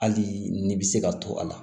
Hali ni bɛ se ka to a la